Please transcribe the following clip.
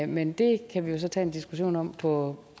men det kan vi jo så tage en diskussion om på